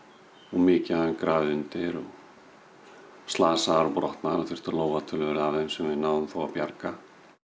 mikið af þeim grafið undir og slasaðar og brotnar og þurfti að lóga töluvert af þeim sem við náðum þó að bjarga